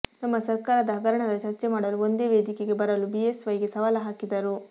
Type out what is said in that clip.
ನಮ್ಮ ಸರ್ಕಾರದ ಹಗರಣದ ಚರ್ಚೆ ಮಾಡಲು ಒಂದೇ ವೇದಿಕೆಗೆ ಬರಲು ಬಿಎಸ್ ವೈಗೆ ಸವಾಲ್ ಹಾಕಿದರು